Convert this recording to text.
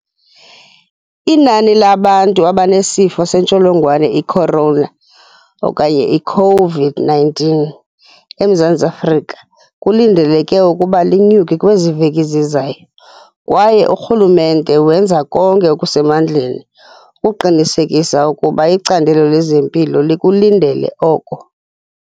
Inani labantu abanesifo sentsholongwane i-corona okanye i-COVID-19 eMzantsi Afrika kulindeleke ukuba linyuke kwezi veki zizayo kwaye urhulumente wenza konke okusemandleni uqinisekisa ukuba icandelo lezempilo likulindele oko.